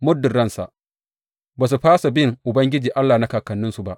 Muddin ransa, ba su fasa bin Ubangiji Allah na kakanninsu ba.